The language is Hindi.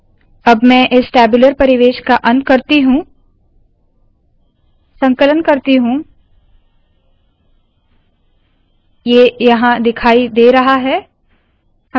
अब मैं इस टैब्यूलर परिवेश का अंत करती हूँ संकलन करती हूँ ये यहाँ दिखाई दे रहा है